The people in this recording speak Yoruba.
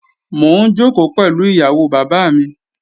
Mò ń jòkó pẹ̀lú ìyàwó bàbá mi